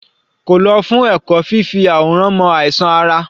Kò lọ fún ẹ̀kọ́ṣẹ́ fífi àwòrán mọ àìsàn ara?